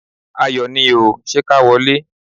Ayọ̀ ni o! Ṣé ká wọlé?